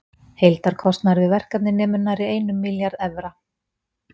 Heildarkostnaður við verkefnið nemur nærri einum milljarði evra.